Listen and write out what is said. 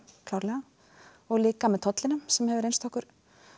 klárlega og líka með tollinum sem hefur reynst okkur